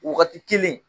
Wagati kelen